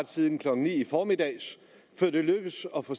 siden klokken ni i formiddags før det lykkes at få